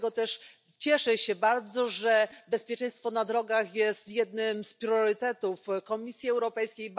Dlatego też cieszę się bardzo, że bezpieczeństwo na drogach jest jednym z priorytetów Komisji Europejskiej.